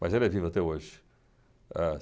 Mas ele é vivo até hoje.